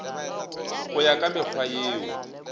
go ya ka mekgwa yeo